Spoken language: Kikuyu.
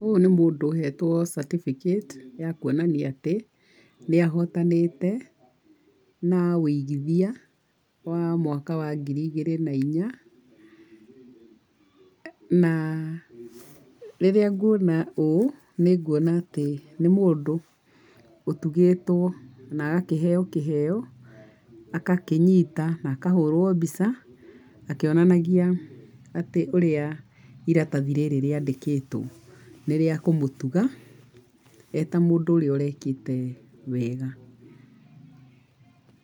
Ũyũ nĩ mũndũ ũhetwo certificate ya kuonania atĩ, nĩ ahotanĩte, na wĩigithia wa mwaka wa ngiri igĩrĩ na inya, na rĩrĩa nguona ũũ, nĩ nguona atĩ nĩ mũndũ ũtũgĩtwo na agakĩheo kĩheo, agakĩnyita na kahũrwo mbica akĩonanagia atĩ ũrĩa iratathi rĩrĩ rĩandĩkĩtwo nĩ rĩa kũmũtuga eta mũndũ ũrĩa ũrekĩte wega.